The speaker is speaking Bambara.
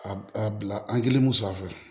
A a bila an kelen sanfɛ